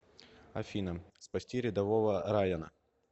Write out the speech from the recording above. афина спасти рядового райана